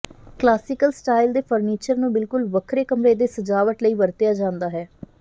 classical style ਦੇ furniture ਨੂੰ ਬਿਲਕੁਲ ਵੱਖਰੇ ਕਮਰੇ ਦੇ ਸਜਾਵਟ ਲਈ ਵਰਤਿਆ ਜਾਂਦਾ ਹੈ